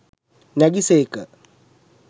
නැගි සේක.